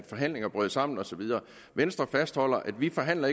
forhandlingerne brød sammen og så videre venstre fastholder at vi ikke forhandler